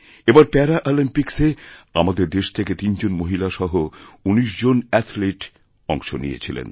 এবার প্যারাঅলিম্পিক্সে আমাদের দেশ থেকে তিন জন মহিলা সহ উনিশ জন অ্যাথলিট অংশনিয়েছিলেন